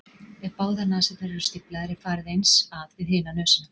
ef báðar nasirnar eru stíflaðar er farið eins að við hina nösina